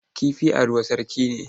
Kifi a ruwa sarki ne.